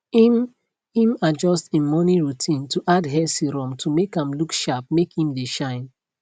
im im adjust im morning routine to add hair serum to make am look sharpmake im dae shine